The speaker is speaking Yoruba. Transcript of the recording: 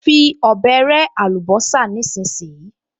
Fi ọ̀bẹ rẹ́ àlùbọ́sà nísinsìnyí!